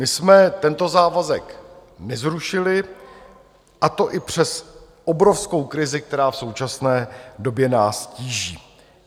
My jsme tento závazek nezrušili, a to i přes obrovskou krizi, která v současné době nás tíží.